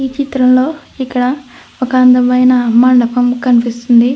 ఈ చిత్రం లో ఇక్కడ ఒక అందమైన మండపం కనిపిస్తుంది.